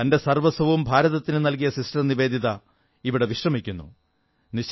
തന്റെ സർവ്വസ്വവും ഭാരതത്തിനു നൽകിയ സിസ്റ്റർ നിവേദിത ഇവിടെ വിശ്രമിക്കുന്നു